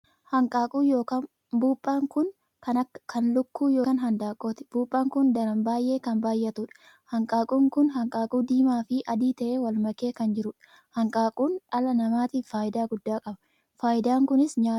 Hanqaaquu ykn buphaan kun kan lukkuu ykn handaaqqooti. Buphaan kun daran baay'ee kan baay'atuudha. Hanqaaquun kun hanqaaquu diimaa fi adii tahee wal makee kan jiruudha. Hanqaaquun dhala namaatiif faayidaa guddaa qaba. Faayidaan kunis nyaataa fi madda galiif kan ooluudha.